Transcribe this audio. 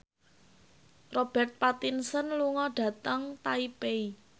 Robert Pattinson lunga dhateng Taipei